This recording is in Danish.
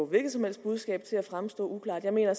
hvilket som helst budskab til at fremstå uklart jeg mener